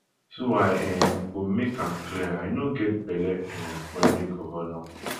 so i um go make am clear i no get belle um for any govnor